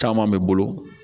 Caman bɛ bolo